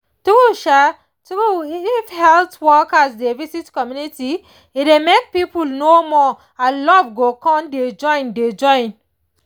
true um true if health workers dey visit community e dey make people know more and love go con dey join dey join